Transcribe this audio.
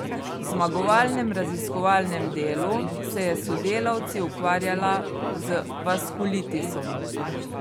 V zmagovalnem raziskovalnem delu se je s sodelavci ukvarjala z vaskulitisom.